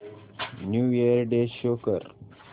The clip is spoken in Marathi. न्यू इयर डे शो कर